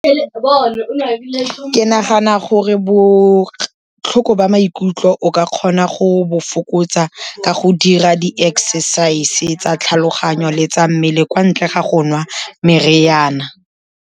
Ke nagana gore botlhoko ba maikutlo o ka kgona go bo fokotsa ka go dira di-exercise-e tsa tlhaloganyo le tsa mmele, kwa ntle ga go nwa meriana.